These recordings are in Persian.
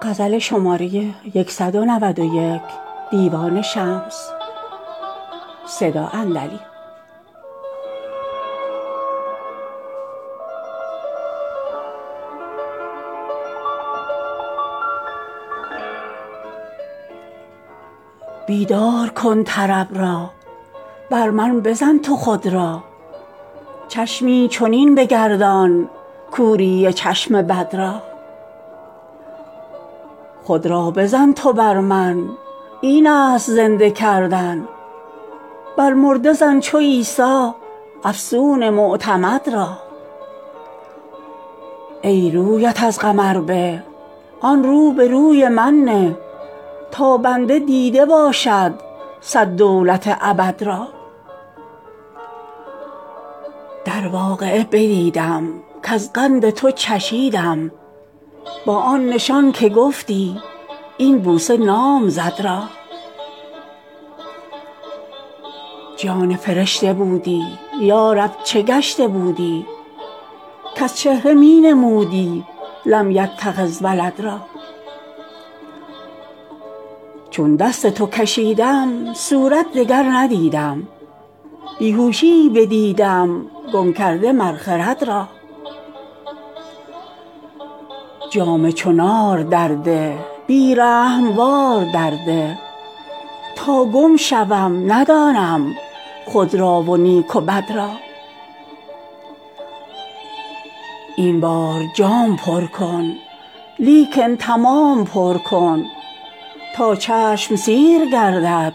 بیدار کن طرب را بر من بزن تو خود را چشمی چنین بگردان کوری چشم بد را خود را بزن تو بر من اینست زنده کردن بر مرده زن چو عیسی افسون معتمد را ای رویت از قمر به آن رو به روی من نه تا بنده دیده باشد صد دولت ابد را در واقعه بدیدم کز قند تو چشیدم با آن نشان که گفتی این بوسه نام زد را جان فرشته بودی یا رب چه گشته بودی کز چهره می نمودی لم یتخذ ولد را چون دست تو کشیدم صورت دگر ندیدم بی هوشیی بدیدم گم کرده مر خرد را جام چو نار درده بی رحم وار درده تا گم شوم ندانم خود را و نیک و بد را این بار جام پر کن لیکن تمام پر کن تا چشم سیر گردد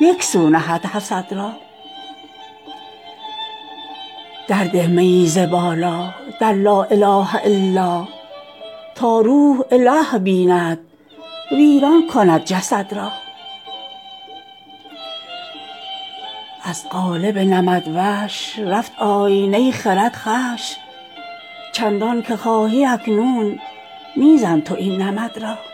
یک سو نهد حسد را درده میی ز بالا در لا اله الا تا روح اله بیند ویران کند جسد را از قالب نمدوش رفت آینه خرد خوش چندانک خواهی اکنون می زن تو این نمد را